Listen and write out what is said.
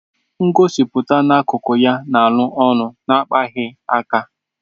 Ngosipụta na-akụkụ ya na alu olu na-akpaghị aka.